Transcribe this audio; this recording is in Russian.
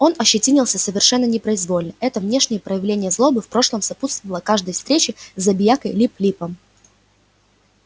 он ощетинился совершенно непроизвольно это внешнее проявление злобы в прошлом сопутствовало каждой встрече с забиякой лип липом